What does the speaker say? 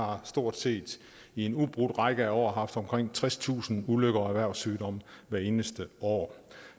har stort set i en ubrudt række af år haft omkring tredstusind ulykker og erhvervssygdomme hvert eneste år